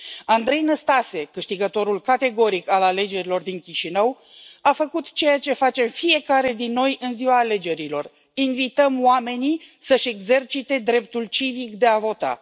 Andrei Năstase, câștigătorul categoric al alegerilor din Chișinău, a făcut ceea ce face fiecare dintre noi în ziua alegerilor invităm oamenii să își exercite dreptul civic de a vota.